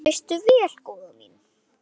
Það veistu vel, góða mín.